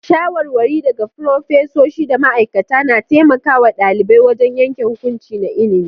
Shawarwari daga furofesoshi da ma'aikata na taimaka wa ɗalibai wajen yanke hukunci na ilimi.